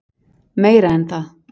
Meira en það.